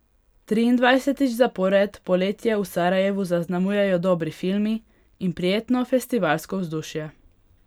Triindvajsetič zapored poletje v Sarajevu zaznamujejo dobri filmi in prijetno festivalsko vzdušje.